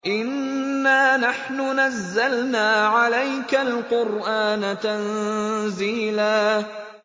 إِنَّا نَحْنُ نَزَّلْنَا عَلَيْكَ الْقُرْآنَ تَنزِيلًا